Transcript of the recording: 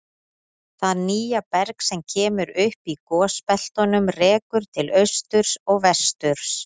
Það nýja berg sem kemur upp í gosbeltunum rekur til austurs og vesturs.